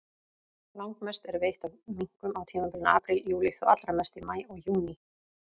Langmest er veitt af minkum á tímabilinu apríl-júlí, þó allra mest í maí og júní.